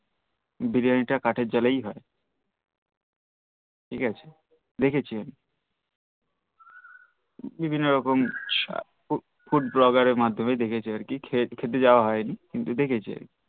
বিরিয়ানি টা কাঠের জালেই হই ঠিক আছে দেখেছি আমি বিভিন্ন রকম Food Blogger এর মাধ্যমেই দেখেছি আর কি খেতে জাওয়া হইনি কিন্তু দেখেছি